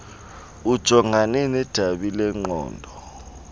ujongane nedabi lengqondo